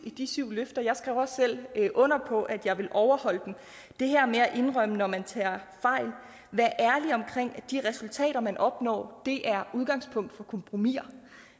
i de syv løfter jeg skrev også selv under på at jeg ville overholde dem det her med at indrømme når man tager fejl være ærlig omkring at de resultater man opnår er udgangspunkt for kompromiser